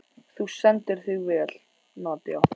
Þú stendur þig vel, Nadia!